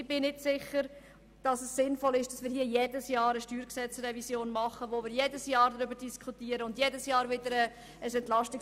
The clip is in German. Ich bin nicht sicher, ob es sinnvoll ist, jedes Jahr eine StG-Revision vorzunehmen und jedes Jahr ein EP zu schnüren.